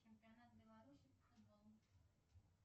чемпионат белоруссии по футболу